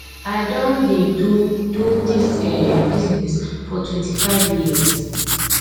i don dey do do dis um business for twenty-five years